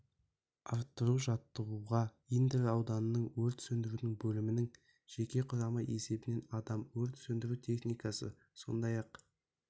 арттыру жаттығуға индер ауданының өрт сөндіру бөлімінің жеке құрамы есебінен адам өрт сөндіру техникасы сондай-ақ